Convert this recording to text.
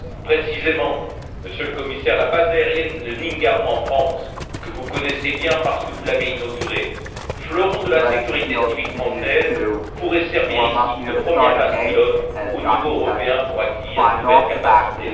Précisément, Monsieur le Commissaire, la base aérienne de Nîmes Garons, en France, que vous connaissez bien, parce que vous l'avez inaugurée, fleuron de la sécurité civile française, pourrait servir ici de première base pilote au niveau européen pour accueillir de nouvelles capacités.